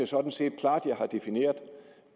sådan set klart jeg definerede